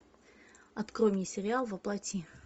открой мне сериал во плоти